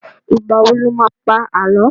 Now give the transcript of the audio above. Ìgbà wo lo má pá Àlọ́?